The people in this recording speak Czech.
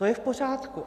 To je v pořádku.